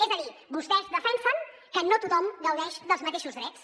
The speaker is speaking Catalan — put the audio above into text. és a dir vostès defensen que no tothom gaudeix dels mateixos drets